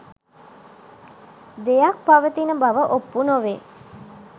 දෙයක් පවතින බව ඔප්පු නොවේ.